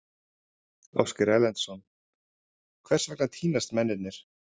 Ásgeir Erlendsson: Hvers vegna týnast mennirnir?